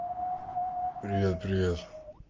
привет привет